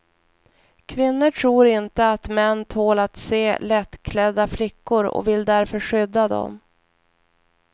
Kvinnor tror inte att män tål att se lättklädda flickor och vill därför skydda dem.